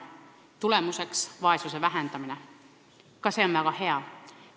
Tulemuseks on vaesuse vähendamine, mis on ka väga hea.